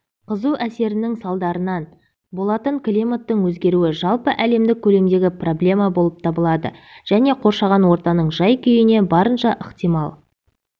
қызу әсерінің салдарынан болатын климаттың өзгеруі жалпы әлемдік көлемдегі проблема болып табылады және қоршаған ортаның жай-күйіне барынша ықтимал